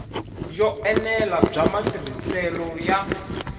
yo enela bya matirhiselo ya